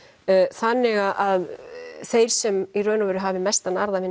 þannig að þeir sem í raun og veru hafi mestan arð af